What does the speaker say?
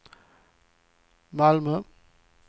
Malmö